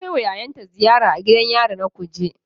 Ta kai wa yayanta ziyara a gidan yari na Kuje